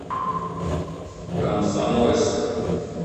комсомольск